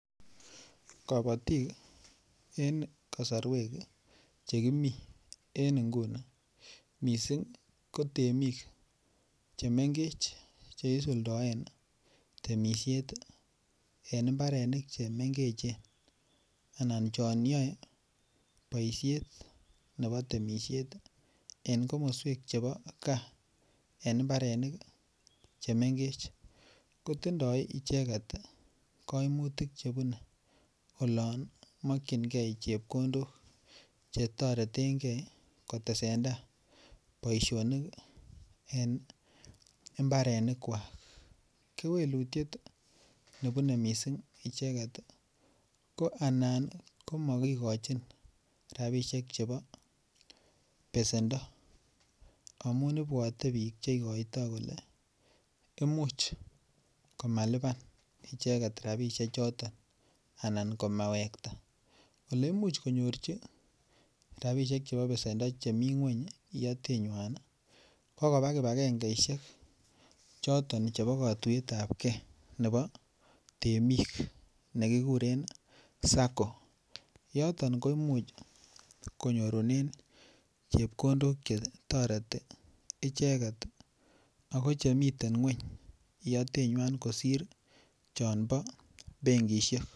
Kabotik en kasarwek che kimi en ngunii mising' ko temik che mengech che isuldaen temishet en mbarenik che mengechen anan chon yaei poishet nebo temishet en komaswek chebo kaa eng mbarenik che mengech. Ko tindoi icheget kaimutik che bune olon makchinkei chepkondok che taretenkei kotesentai poishonik en mbarenikwak. Kewelutiet nebune mising' icheget ko anan ko makigochin rapishek chebo pesendo amu ipwate piik che ikoitai kole imuch komalipan icheget rapishechoton anan komewekata. Ole imuch konyorchi rapishek chebo pesendo che mi ng'uny iyatenywa ko koba kibagengeishek choton chebo katuet ap kee nebo temik nikugeree sacco. Yoton ko imuch konyorunen chepkondok che toreti icheket ako che miten ng'uny iyatenwan kosir choon bo benkishek.